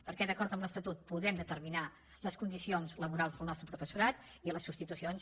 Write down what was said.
perquè d’acord amb l’estatut podem determinar les condicions laborals del nostre professorat i les substitucions